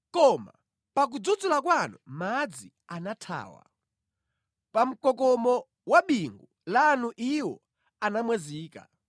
Koma pakudzudzula kwanu madzi anathawa, pa mkokomo wa bingu lanu iwo anamwazika;